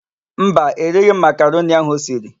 Mba, erighi m makaroni ahụ o siri.